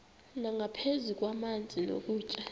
nangaphezu kwamanzi nokutya